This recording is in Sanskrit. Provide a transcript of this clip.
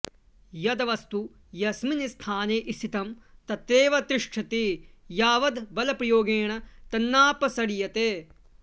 यद् वस्तु यस्मिन् स्थाने स्थितं तत्रैव तिष्टति यावद् बलप्रयोगेण तन्नापसर्यते